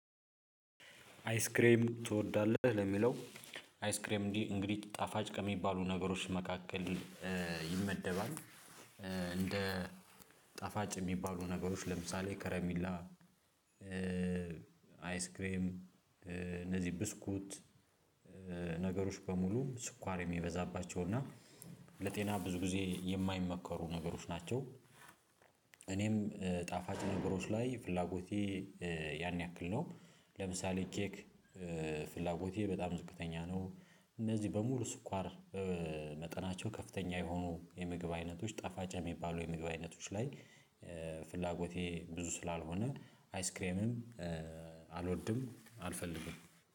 አይስክሬም ትወዳለህ ለሚለው? አይስክሬም እንግዲህ ጣፋጭ ከሚባሉ ነገሮች መካከል ይመደባል። እንደ ጣፋጭ የሚባሉ ነገሮች ለምሳሌ ከረሚላ አይስክሬም እነዚህ ብስኩት ነገሮች በሙሉ ስኳር የሚበዛባቸው እና ለጤና ብዙ ጊዜ የማይመከሩ ነገሮች ናቸው። እኔም ጣፋጭ ነገሮች ላይ ፍላጎቴ ያን ያክል ነው። ለምሳሌ ኬክ ፍላጎቴ በጣም ዝቅተኛ ነው። እነዚህ በሙሉ ስኳር መጠናቸው ከፍተኛ የሆኑ የምግብ አይነቶች ጠፋጭ የሚባሉ የምግብ አይነቶች ላይ ፍላጎቴ ብዙ ስላልሆነ አይስክሬምም አልወድም። አልፈልግም